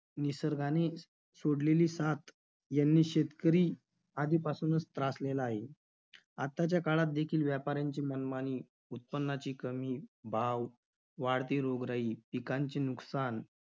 निसर्गाने सोडलेली साथ याने शेतकरी आधीपासूनच त्रासलेला आहे. आताच्या काळात देखील व्यापाऱ्यांची मनमानी, उत्पन्नाची कमी, भाव, वाढती रोगराई, पिकांचे नुकसान